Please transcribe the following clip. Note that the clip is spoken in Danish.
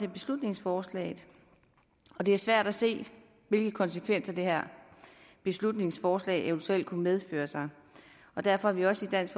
i beslutningsforslaget og det er svært at se hvilke konsekvenser det her beslutningsforslag eventuelt kunne medføre og derfor er vi også i dansk